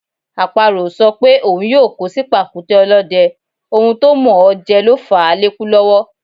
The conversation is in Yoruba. Àparò ò sọ pé òun yóò kó sí pàkúté ọlọ́dẹ, ohun tó mọ̀ọ́ jẹ ló fàá lékú lọ́wọ́.